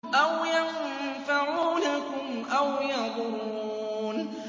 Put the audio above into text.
أَوْ يَنفَعُونَكُمْ أَوْ يَضُرُّونَ